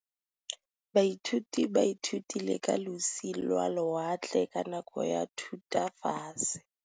Baithuti ba ithutile ka losi lwa lewatle ka nako ya Thutafatshe.